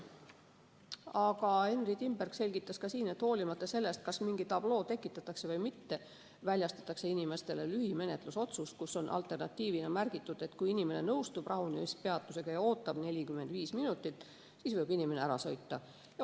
Aga Henry Timberg selgitas, et hoolimata sellest, kas mingi tabloo tekitatakse või mitte, väljastatakse inimesele lühimenetlusotsus, kus on alternatiivina märgitud, et kui inimene nõustub rahunemispeatusega ja ootab 45 minutit, siis võib ta ära sõita.